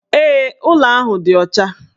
Ee, ụlọ ahụ dị ọcha